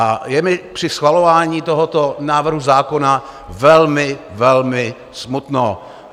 A je mi při schvalování tohoto návrhu zákona velmi, velmi smutno.